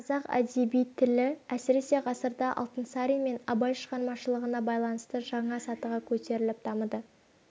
қазақ әдеби тілі әсіресе ғасырда алтынсарин мен абай шығармашылығына байланысты жаңа сатыға көтеріліп дамыды